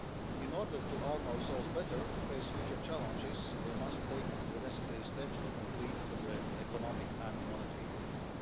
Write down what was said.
In order to arm ourselves better to face future challenges, we must take the necessary steps to complete our Economic and Monetary Union.